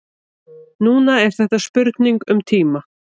Núna er þetta spurning um tíma.